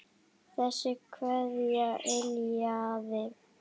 Þessi kveðja yljaði.